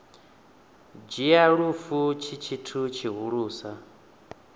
dzhia lufu tshi tshithu tshihulusa